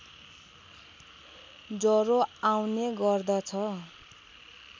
ज्वरो आउने गर्दछ